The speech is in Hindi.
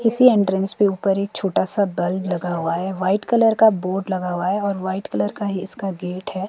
किसी एंट्रेंस के ऊपर एक छोटा सा बल्ब लगा हुआ है। वाइट कलर का बोर्ड लगा हुआ है और वाइट कलर का ही इसका गेट है।